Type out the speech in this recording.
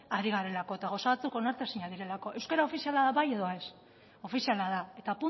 ari garelako eta gauza batzuk onartezinak direlako euskara ofiziala da bai ala ez ofiziala da eta